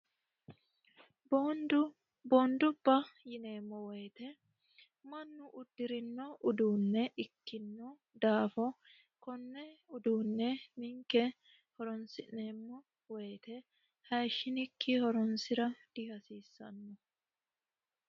boondubba yineemmo woyite mannu uddi'rino uduunne ikkinno daafo konne uduunne ninke horonsi'neemmo woyite hayishshinikki horonsi'ra dihasiissanno